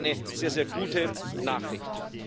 Und das ist eine sehr, sehr gute Nachricht.